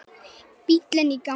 Bíllinn í gangi.